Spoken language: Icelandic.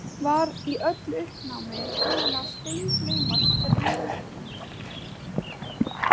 Var í öllu uppnáminu búinn að steingleyma strýinu.